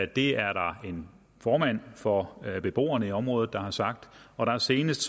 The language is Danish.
det er der en formand for beboerne i området der har sagt og senest